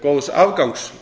góðs afgangs